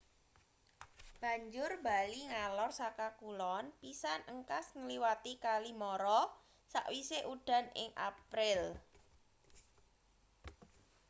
banjur bali ngalor saka kulon pisan engkas ngliwati kali mara sakwise udan ing april